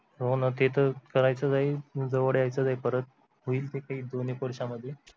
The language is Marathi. होना ते तर करायचंच आहे जवळ यायचंच आहे परत होईल ते काही दोन एक वर्षांमध्ये